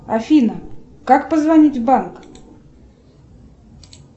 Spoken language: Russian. афина как позвонить в банк